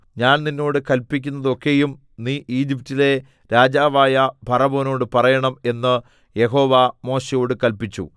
ഞാൻ നിന്നോട് കല്പിക്കുന്നതൊക്കെയും നീ ഈജിപ്റ്റിലെ രാജാവായ ഫറവോനോട് പറയണം എന്ന് യഹോവ മോശെയോട് കല്പിച്ചു